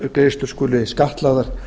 lífeyrissjóðsgreiðslur skuli skattlagðar